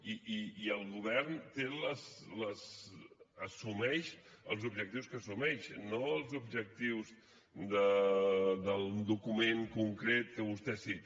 i el govern assumeix els objectius que assumeix no els objectius d’un document concret que vostè cita